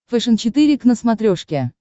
фэшен четыре к на смотрешке